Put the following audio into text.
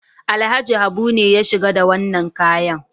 Alhaji Habu ne ya shigo da wannan kayan.